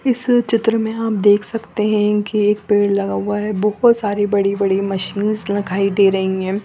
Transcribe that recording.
इस चित्र में हम देख सकते है की एक पेड़ लगा हुआ है बुको सारी बड़ी बड़ी मशीनस दिखाई दे रही है।